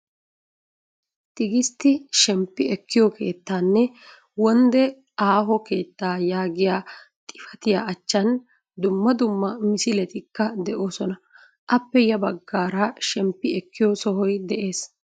Tigistti shemppi ekkiyo keettaanne wonde aaho keettaa yaagiyaa xifatiyaa achchan dumma dumma misiletikka de'oosona. appe ya baggaara shemppi ekkiyo sohoy des.